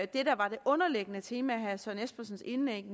det der var det underliggende tema i herre søren espersens indlæg